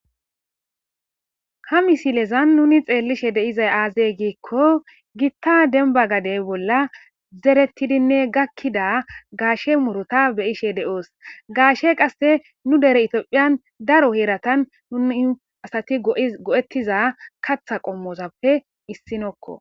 Ha misilezan nuni xeellishe deizay aazey giikko gitta denba gadey bolla zerettidinne gakkida gaashe muruta beyishe de'oos gaashe qasse nu dere itiophiyan daro heeratan nuni asati go'ettiza katha qommozappe issinokko